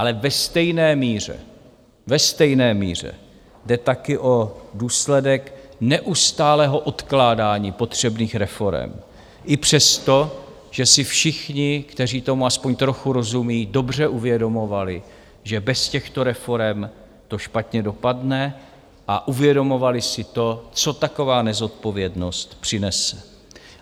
Ale ve stejné míře, ve stejné míře, jde také o důsledek neustálého odkládání potřebných reforem i přesto, že si všichni, kteří tomu aspoň trochu rozumí, dobře uvědomovali, že bez těchto reforem to špatně dopadne a uvědomovali si to, co taková nezodpovědnost přinese.